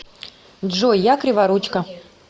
джой я криворучка